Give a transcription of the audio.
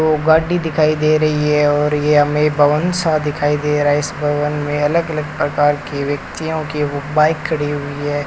दो गाड़ी दिखाई दे रही है और ये हमें भवन सा दिखाई दे रहा है इस भवन में अलग अलग प्रकार के व्यक्तियों की वो बाइक खड़ी हुई है।